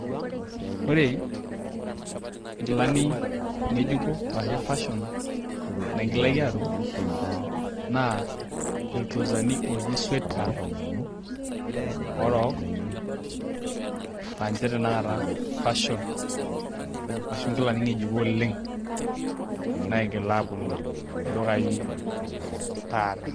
Ore nkilani ng'ejuko ashu fashion naigilaki aatum naa iltrousani ooji sweatpants orook laa inche tanakata fashion ashu nkilani ng'ejuko oleng naigila aaponu ildukai taata.